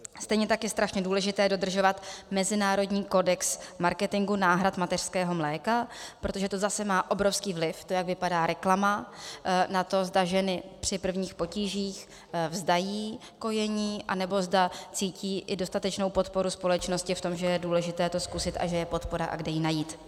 Stejně tak je strašně důležité dodržovat mezinárodní kodex marketingu náhrad mateřského mléka, protože to zase má obrovský vliv - to, jak vypadá reklama - na to, zda ženy při prvních potížích vzdají kojení, anebo zda cítí i dostatečnou podporu společnosti v tom, že je důležité to zkusit a že je podpora a kde ji najít.